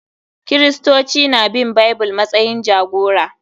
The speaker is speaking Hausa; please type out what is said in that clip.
Kiristoci na bin Bible matsayin jagora